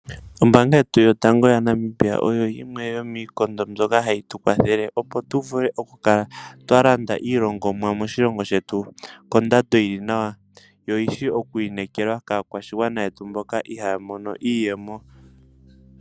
Ombaanga yetu yotango yaNamibia oyo yimwe yomiikondo mbyoka hayi tu kwathele opo tu vule oku kala twa landa iilongomwa moshilongo shetu kondando yili nawa, yo oyishi okwi inekelwa kaakwashigwana yetu mboka ihaya mono iiyemo.